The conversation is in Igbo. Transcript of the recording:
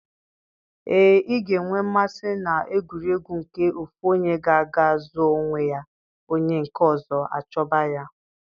Ee, ị ga-enwe mmasị na egwuregwu nke ofu onye ga-aga zoo onwe ya onye nke ọzọ achọba ya.